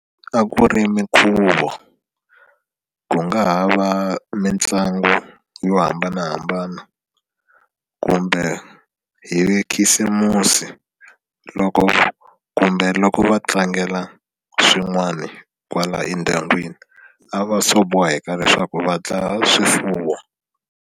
A ku ri minkhuvo ku nga ha va mitlangu yo hambanahambana kumbe hi khisimusi loko kumbe loko va tlangela swin'wani kwala endyangwini a va swo boheka leswaku va dlaya swifuwo.